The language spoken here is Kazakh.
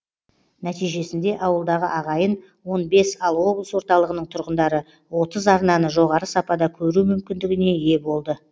нәтижесінде ауылдағы ағайын он бес ал облыс орталығының тұрғындары отыз арнаны жоғары сапада көру мүмкіндігіне ие болды